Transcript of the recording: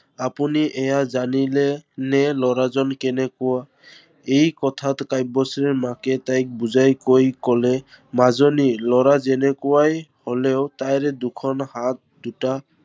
আপুনি এইয়া জানিলে নে লৰাজন কেনেকুৱা? এই কথাত কাব্যশ্ৰীৰ মাকে তাইক বুজাই কৈ, কলে মাজনী লৰা যেনেকুৱাই হলেও তাৰ দুখন হাত দুটা